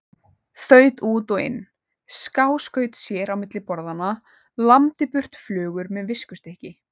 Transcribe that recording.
Þaut út og inn, skáskaut sér á milli borðanna, lamdi burt flugur með viskustykki.